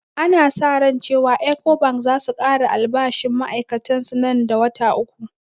Ana sa ran cewan ecobank zasu kara albashinn ma'ai'katan su nan da wata uku